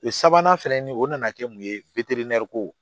O ye sabanan fɛnɛ ni o nana kɛ mun ye ko